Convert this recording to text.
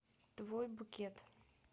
твой букет